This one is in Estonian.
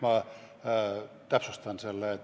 Ma täpsustan seda.